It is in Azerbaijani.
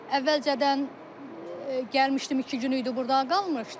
Əvvəlcədən gəlmişdim, iki gün idi burda qalmışdım.